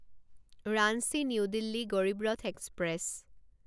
Ranchi new Delhi Garib Rath express